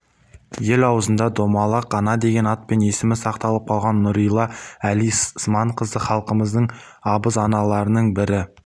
ел аузында домалақ ана деген атпен есімі сақталып қалған нұрилә әли сыманқызы халқымыздың абыз аналарының бірі